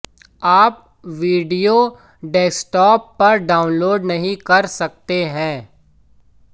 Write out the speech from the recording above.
आप video desktop पर download नहीं कर सकते हैं